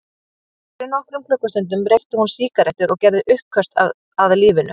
Fyrir nokkrum klukkustundum reykti hún sígarettur og gerði uppköst að lífinu.